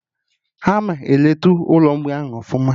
Ama eleta Ụlọ mgbei ahụ ọfụma